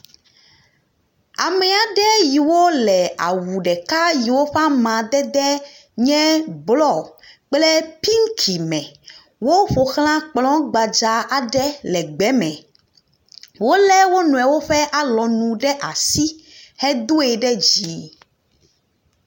Amea aɖe yiwo le awu ɖeka yiwo ƒe amadede nye blɔ kple pinki me. Woƒo xla kplɔ gbadza aɖe le gbeme, wolé wo nɔewo ƒe alɔnu ɖe asi hedoe ɖe dzi.